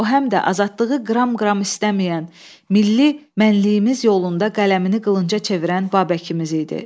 O həm də azadlığı qram-qram istəməyən, milli mənliyimiz yolunda qələmini qılınca çevirən Babəkimiz idi.